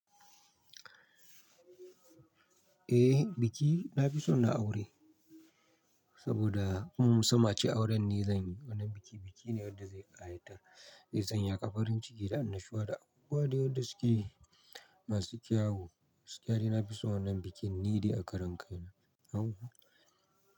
Eh biki na fi son na aure saboda kuma musamman ace auren ni zanyi wannan bikin. Biki ne wanda zai tsaya ƙafarin ciki da annashuwa da abubuwa da yadda suke masu kyawu. Gaskiya nina fi son wannan bikin ni dai a karan kai na.